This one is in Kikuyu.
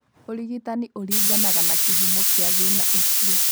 ũrigitani ũringanaga na kĩhumo kĩa thĩĩna ũcio.